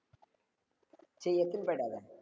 சரி எடுத்துன்னு போயிடாத